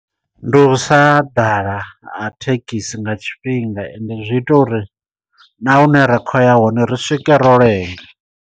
Ndi u sa ḓala ha thekhisi nga tshifhinga ende zwi ita uri na hune ra khou ya hone ri swike ro lenga.